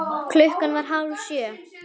Klukkan var hálf sjö.